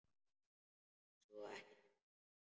Svo ekki neitt.